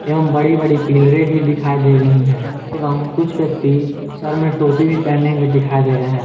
एवं बड़ी बड़ी पिलरें भी दिखाई दे रही है एवं कुछ व्यक्ति सर में टोपी भी पहने हुए दिखाई दे रहे हैं।